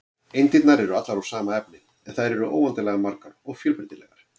Eindirnar eru allar úr sama efni, en þær eru óendanlega margar og fjölbreytilegar.